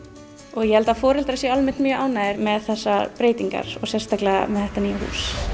og ég held að foreldrar séu almennt mjög ánægðir með þessar breytingar og sérstaklega þetta nýja hús